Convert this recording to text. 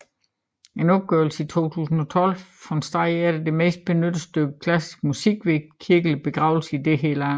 En opgørelse i 2012 fandt at det var det mest benyttede stykke klassiske musik ved kirkelige begravelser i dette land